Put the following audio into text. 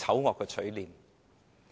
惡嘴臉。